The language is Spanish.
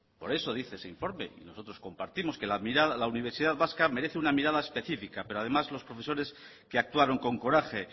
por eso dice ese informe y nosotros compartimos que la universidad vasca merece una mirada específica pero además los profesores que actuaron con coraje